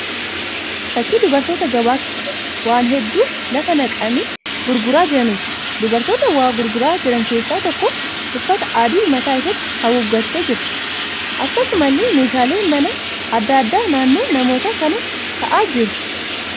Fakkii dubartoota gabaa keessa waan hedduu lafa naqanii gurguraa jiraniiti. Dubartoota waa gurguraa jiran keessaa tokko uffata adii mataa isheetti haguuggattee jirti. Akkasumallee meeshaaleen manaa adda addaa naannoo namoota kanaa taa'aa jiru.